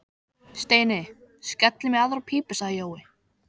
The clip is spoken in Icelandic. Steini, skellum í aðra pípu sagði Jói.